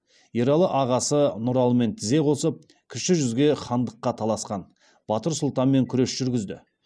ералы ағасы нұралымен тізе қосып кіші жүзге хандыққа таласқан батыр сұлтанмен күрес жүргізді